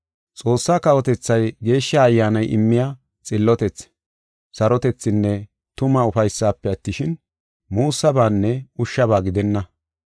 Xoossaa kawotethay Geeshsha Ayyaanay immiya xillotethi, sarotethinne tuma ufaysife attishin, muussabaanne ushshaba gidenna.